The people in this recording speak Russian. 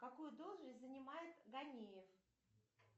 какую должность занимает ганеев